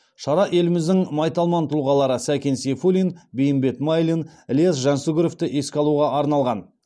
шара еліміздің майталман тұлғалары сәкен сейфуллин бейімбет майлин іляс жансүгіровті еске алуға арналған